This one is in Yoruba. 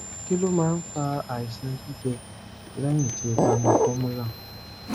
kí ló máa ń fa àìsàn gbígbẹ lẹyìn tí o bá mu formula